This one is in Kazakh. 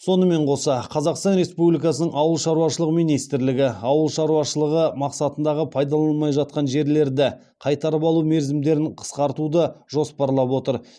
сонымен қоса қазақстан республикасының ауыл шаруашылығы министрлігі ауыл шаруашылығы мақсатындағы пайдаланылмай жатқан жерлерді қайтарып алу мерзімдерін қысқартуды жоспарлап отыр